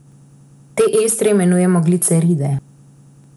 Te estre imenujemo gliceride.